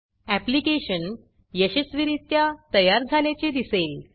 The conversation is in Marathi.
ऍप्लीकेशन यशस्वीरित्या तयार झाल्याचे दिसेल